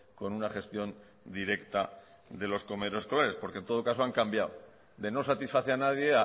con una gestión directa de los comedores escolares porque en todo caso han cambiado de no satisfacer a nadie